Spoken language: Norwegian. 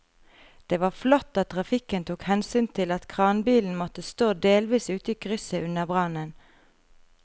Det var flott at trafikken tok hensyn til at kranbilen måtte stå delvis ute i krysset under brannen.